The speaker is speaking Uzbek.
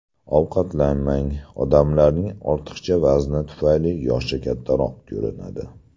Ovqatlanmang Odamlarning ortiqcha vazni tufayli yoshi kattaroq ko‘rinadi.